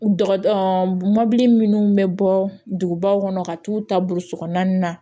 Dɔgɔ mɔbili minnu bɛ bɔ dugubaw kɔnɔ ka t'u ta burusikɔnɔna na